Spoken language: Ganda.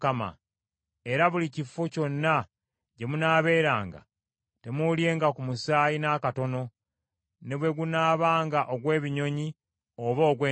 Era buli kifo kyonna gye munaabeeranga, temuulyenga ku musaayi n’akatono, ne bwe gunaabanga ogw’ebinyonyi oba ogw’ensolo.